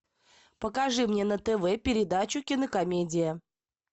покажи мне на тв передачу кинокомедия